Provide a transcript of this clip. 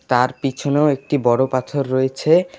তার পিছনেও একটি বড়ো পাথর রয়েছে।